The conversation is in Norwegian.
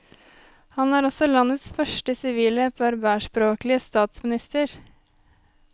Han er også landets første sivile berberspråklige statsminister.